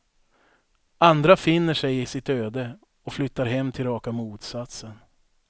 Andra finner sig i sitt öde och flyttar hem till raka motsatsen.